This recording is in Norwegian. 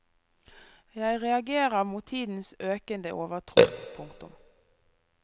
Jeg reagerer mot tidens økende overtro. punktum